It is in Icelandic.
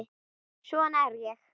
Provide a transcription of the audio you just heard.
Svona er ég.